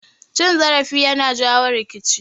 Cin zarafi yana jawo rikici